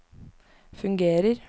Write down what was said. fungerer